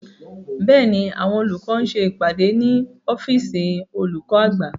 Bẹ́ẹ̀ni, àwọn olùkọ́ ń ṣe ìpàdé ní ọ́fìsìn olùkọ́ àgbà